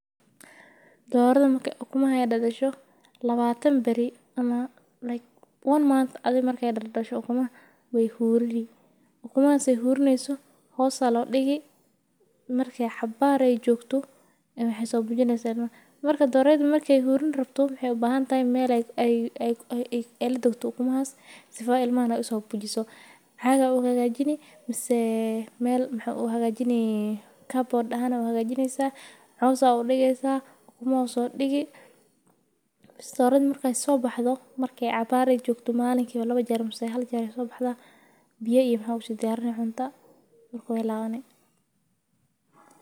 Doraada markee ukumaha ee dadasho, lawatan bari ama like one month markee dadasho wey hurini, ukumahas ee hurinihayso hos ayaa lo digii, marki cabar ee jogto ee wexee so bujineysaa ilmaaha, marka doreyda markee huriin rabto mexee ubahantahay meel ee latagto ukumahaas, sifala ilmahaas u sobujiso, caag aa u hagajinee misee meel waxaa u hagajine carboard ahan aya u hagajineysaa, coos ayaa udigeysaa ukumaaha usodigi, baas doorad markee so baxdo, markee cabar ee jogto malinkiba haljeer mase lawa jeer ayey so baxdaa, biya iyo maxaa u si diyarini cunta, Maark wey lawani.